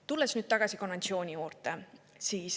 Tulen nüüd tagasi konventsiooni juurde.